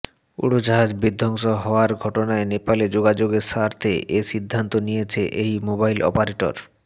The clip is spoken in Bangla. উড়োজাহাজ বিধ্বস্ত হওয়ার ঘটনায় নেপালে যোগাযোগের স্বার্থে এ সিদ্ধান্ত নিয়েছে এই মোবাইল অপারেটর